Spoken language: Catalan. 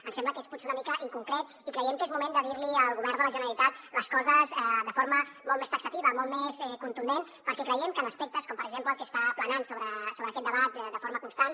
ens sembla que és potser una mica inconcret i creiem que és moment de dir li al govern de la generalitat les coses de forma molt més taxativa molt més contundent perquè creiem que en aspectes com per exemple el que està planant sobre aquest debat de forma constant